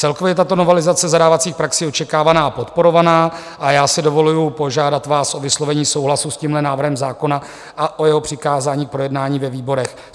Celkově je tato novelizace zadávacích praxí očekávaná a podporovaná a já si dovoluji požádat vás o vyslovení souhlasu s tímhle návrhem zákona a o jeho přikázání k projednání ve výborech.